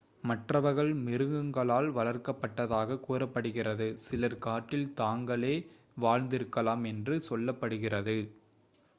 மற்றவர்கள் மிருகங்களால் வளர்க்கப்பட்டதாக கூறப்படுகிறது சிலர் காட்டில் தாங்களே வாழ்ந்திருக்கலாம் என்று சொல்லப்படுகிறது